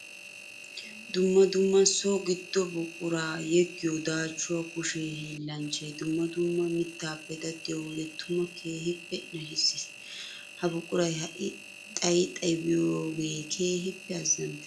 Dumma dumma so gido buqura yeggiyo daachuwaa kushe hiillanchchay dumma dumma mittappe daddiyo wode tuma keehippe nashisees. Ha buquray ha'i xayi xayi biyooge keehippe azzantees.